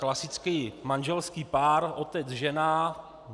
Klasický manželský pár otec žena.